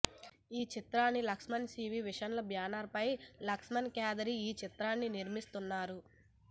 ఈ చిత్రాన్ని Laxman cine visions banner పై లక్ష్మణ్ కేదారి ఈ చిత్రాన్ని నిర్మిస్తున్నారు